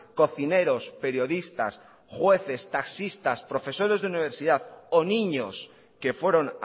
cocineros periodistas jueces taxistas profesores de universidad o niños que fueron